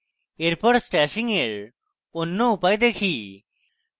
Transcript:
এরপর stashing এর অন্য উপায় দেখি